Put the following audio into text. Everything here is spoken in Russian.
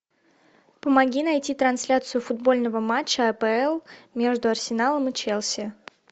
помоги найти трансляцию футбольного матча апл между арсеналом и челси